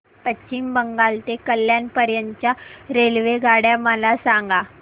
पश्चिम बंगाल ते कल्याण पर्यंत च्या रेल्वेगाड्या मला सांगा